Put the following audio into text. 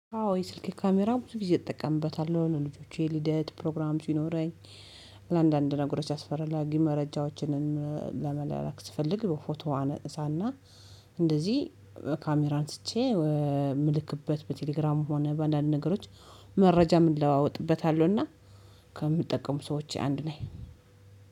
አዎ የስልኬ ካሜራ ብዙ ጊዜ እጠቀምበታለሁ ልጆቼ ልደት ፕሮግራም ሲኖረኝ ለአንዳንድ ነገሮች አስፈራጊ መረጃዎችንን ለመላላክ ስፈልግ በፎቶ አነጥሳና እንደዚህ ካሜራ አንስቼ የምልክበት በቴሌግራም ሆነ በአንዳንድ ነገሮች መረጃም እለዋወጥበታለሁና። ከምጠቀሙ ሰዎች አንድ ነኝ።